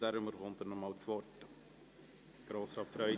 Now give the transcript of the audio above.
Deswegen bekommt er noch einmal das Wort.